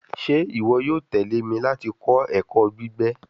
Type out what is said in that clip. Ṣe iwọ yoo tẹle mi lati kọ ẹkọ gbigbe